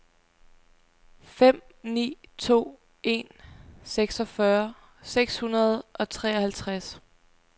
fem ni to en seksogfyrre seks hundrede og treoghalvtreds